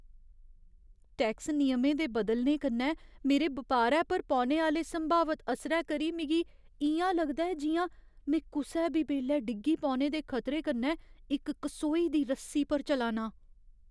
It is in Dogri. टैक्स नियमें दे बदलने कन्नै मेरे बपारै पर पौने आह्‌ले संभावत असरै करी मिगी इ'यां लगदा ऐ जि'यां में कुसै बी बेल्लै डिग्गी पौने दे खतरे कन्नै इक कसोई दी रस्सी पर चला नां।